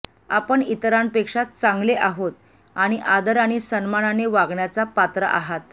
आपण इतरांपेक्षा चांगले आहोत आणि आदर आणि सन्मानाने वागण्याचा पात्र आहात